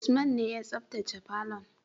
Usman ne ya sabtace falon.